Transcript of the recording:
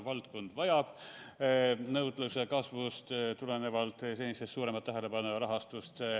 Valdkond vajab nõudluse kasvust tulenevalt senisest suuremat tähelepanu ja rahastust.